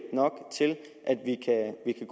i